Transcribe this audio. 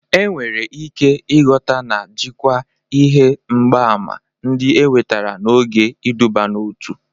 Enwere ike ịghọta na jikwaa ihe mgbaàmà ndị enwetara n'oge iduban'otu.